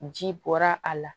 Ji bɔra a la